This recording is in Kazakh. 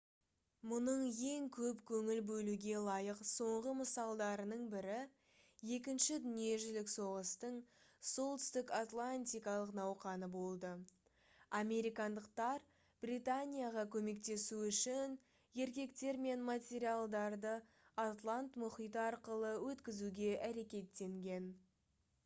мұның ең көп көңіл бөлуге лайық соңғы мысалдарының бірі екінші дүниежүзілік соғыстың солтүстік атлантикалық науқаны болды американдықтар британияға көмектесу үшін еркектер мен материалдарды атлант мұхиты арқылы өткізуге әрекеттенген